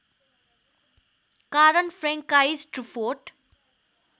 कारण Francois Truffaut